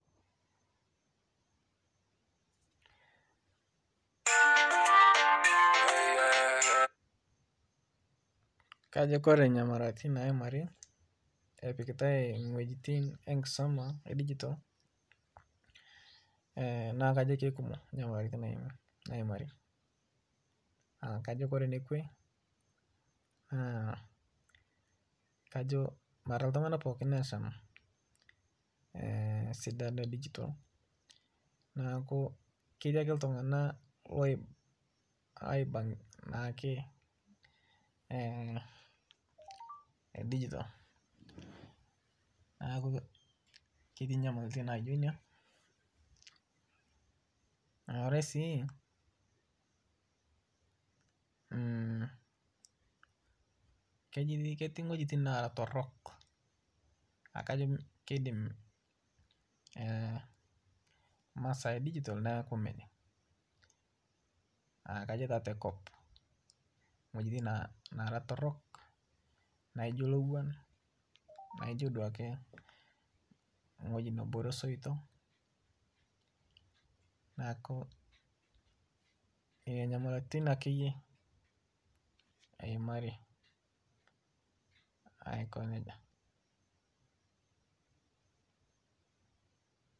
Kajo Kore nyamalaratin naimari epikitae ntokin enkisoma edigital naku kajo keikumok nyamalaratin naimari, Kore nekwe kajo mara ltunganak pookin lasham sidano edigital naaku ketii ake ltung'nak loiba naake digital naaku ketii nyamalitin naijo inia, naare si keti ng'wejitin naara torok kajo keiidim masaa edigital nakuu mejing kajo taa tekop, ng'wejitin naara torok naijo lowuan naijo duake ng'oji nebore soito naaku nenia nyamalaratin akeyie eimari aiko neja.